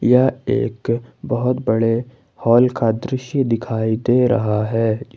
यह एक बहोत बड़े हॉल का दृश्य दिखाई दे रहा है।